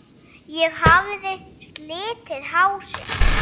Ég hafði slitið hásin.